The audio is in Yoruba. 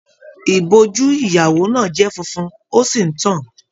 Ìbojú ìyàwó náà jẹ fúnfún, o sí n tán-an.